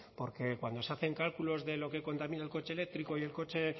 porque cuando se hacen cálculos de lo que contamina el coche eléctrico y el coche